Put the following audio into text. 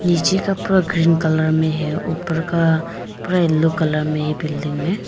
नीचे का पूरा ग्रीन कलर में है ऊपर का पूरा येलो कलर में है बिल्डिंग में।